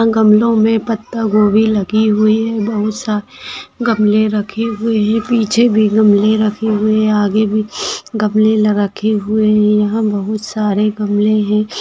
गमलों मे पत्ता गोबी लगी हुई है बहुत सारे गमले रखे हुवे है पीछे भी गमले रखे हुवे है आगे भी गमले लगा के हुवे है यहाँ बहुत सारे गमले है।